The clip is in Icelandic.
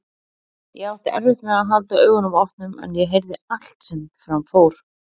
Ég átti erfitt með að halda augunum opnum en ég heyrði allt sem fram fór.